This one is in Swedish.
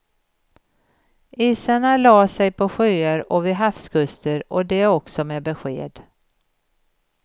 Isarna la sig på sjöar och vid havskuster och det också med besked.